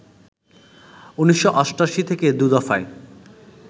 ১৯৮৮ থেকে দু দফায়